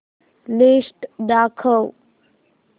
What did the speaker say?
list दाखव